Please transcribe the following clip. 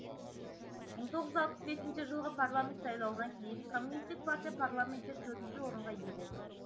мың тоғыз жүз алпыс бесінші жылғы парламент сайлауынан кейін коммунистік партия парламентте төртінші орынға ие болды